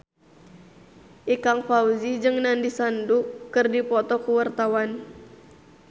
Ikang Fawzi jeung Nandish Sandhu keur dipoto ku wartawan